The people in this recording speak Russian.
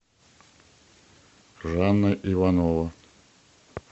жанна иванова